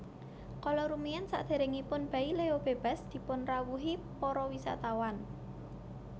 Kala rumiyin saderengipun Baileo bebas dipun rawuhi para wisatawan